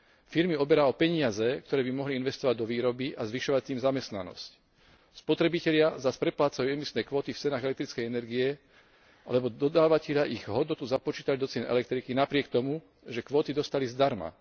Firmy oberá o peniaze, ktoré by mohli investovať do výroby a zvyšovať tým zamestnanosť, spotrebitelia zas preplácajú emisné kvóty v cenách elektrickej energie, lebo dodávatelia ich hodnotu započítajú do cien elektriky napriek tomu, že kvóty dostali zdarma.